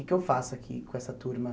O que eu faço aqui com essa turma?